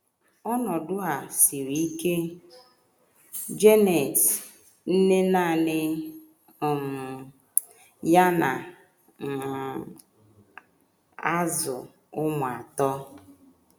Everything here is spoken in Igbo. Ọnọdụ a siri ike. JANET, NNE NANỊ um YA NA um - AZỤ ỤMỤ ATỌ.